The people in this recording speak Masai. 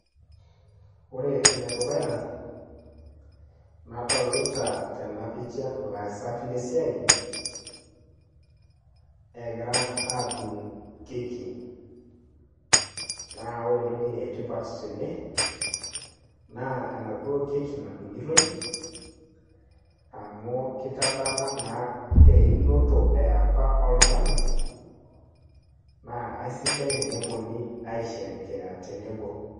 ore ene dukuya, nadolita ilaasak, lesiai, egira aadung' keki, naa ore entoki etipat tene, naa enaduo keki nadung'itoi, amu kitadamu naa einoto eyapa oltungani, naa kesidai tenepuonunui aisherekea tenebo.